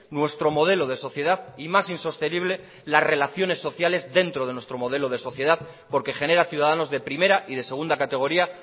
nuestro modelo de sociedad y más insostenible las relaciones sociales dentro de nuestro modelo de sociedad porque genera ciudadanos de primera y de segunda categoría